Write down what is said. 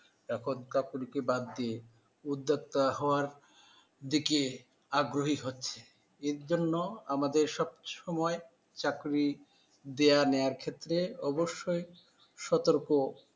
এখন চাকুরীকে বাদ দিয়ে উদ্যোক্তা হওয়ার দিকে আগ্রহী হচ্ছে, এর জন্য আমাদের সবসময় চাকরি দেয়ানেয়ার ক্ষেত্রে অবশ্যই সতর্ক